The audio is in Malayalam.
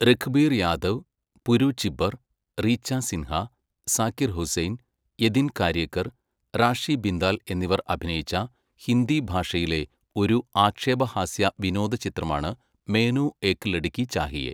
രഘുബീർ യാദവ്, പുരു ചിബ്ബർ, റീച്ച സിൻഹ, സാക്കിർ ഹുസൈൻ, യതിൻ കാര്യേക്കർ, റാഷി ബിന്ദാൽ എന്നിവർ അഭിനയിച്ച ഹിന്ദി ഭാഷയിലെ ഒരു ആക്ഷേപഹാസ്യ വിനോദ ചിത്രമാണ് മെയ്നു ഏക് ലഡ്കി ചാഹിയേ.